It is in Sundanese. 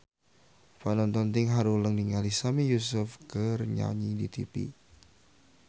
Panonton ting haruleng ningali Sami Yusuf keur nyanyi di tipi